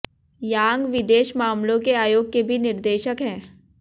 यांग विदेश मामलों के आयोग के भी निदेशक हैं